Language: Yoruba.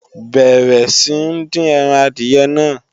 Bẹ̀rẹ̀ sí ń dín ẹran adìyẹ náà!